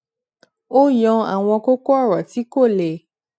ó yan àwọn kókó òrò tí kò le